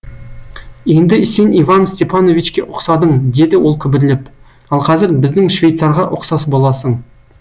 енді сен иван степановичке ұқсадың деді ол күбірлеп ал қазір біздің швейцарға ұқсас боласың